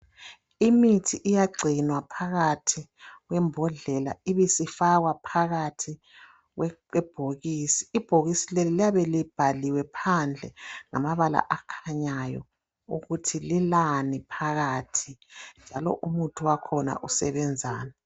Imithi iyagcinwa phakathi kwembodlela ibisifakwa phakathi kwebhokisi, ibhokisi leli liyabe libhaliwe phandle ngamabala akhanyayo ukuthi lilani phakathi njalo umuthi wakhona usebenzani.